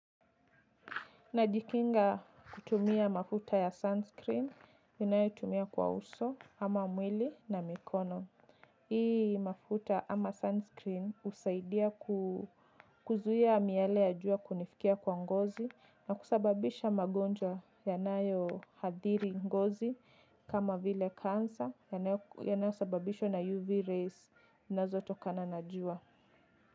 Najikinga kutumia mafuta ya sunscreen, ninayotumia kwa uso ama mwili na mikono. Hii mafuta ama sunscreen husaidia kuzuia miale ya jua kunifikia kwa ngozi na kusababisha magonjwa yanayohadhiri ngozi kama vile cancer yanayosababishwa na UV rays zinazotokana na jua.